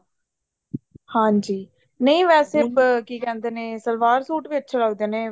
ਹਾਂਜੀ ਨਹੀਂ ਵੈਸੇ ਕੀ ਕਹਿੰਦੇ ਨੇ ਸਲਵਾਰ ਸੂਟ ਵੀ ਅੱਛੇ ਲੱਗਦੇ ਨੇ